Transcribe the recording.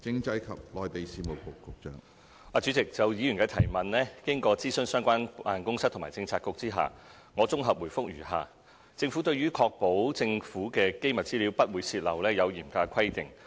主席，就議員的質詢，經諮詢相關辦公室及政策局後，我綜合回覆如下：政府對於確保政府機密資料不會泄漏，有嚴格的規定。